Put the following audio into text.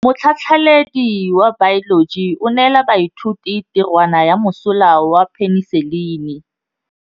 Motlhatlhaledi wa baeloji o neela baithuti tirwana ya mosola wa peniselene.